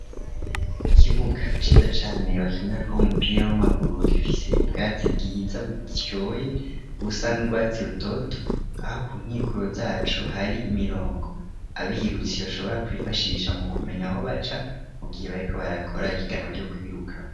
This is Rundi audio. Ikibuga ciza cane bakinira ko umupira w'amaguru gifise ubwatsi bwiza butoye busa nrwatsi rutoto aho ku nkikuro zacu hari imirongo abirutsi bashobora kwifashisha mu kumenya aho baca mu gihe bari ko barakora ikiganwa ryo kwiruka.